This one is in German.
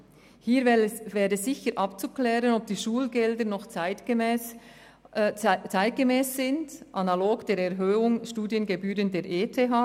Hier wäre sicher abzuklären, ob die Schulgelder noch zeitgemäss sind, analog der Erhöhung der Studiengebühren der ETH.